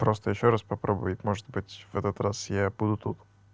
просто ещё раз попробует может быть в этот раз я буду тут